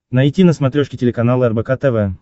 найти на смотрешке телеканал рбк тв